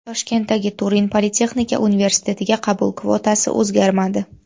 Toshkentdagi Turin politexnika universitetiga qabul kvotasi o‘zgarmadi.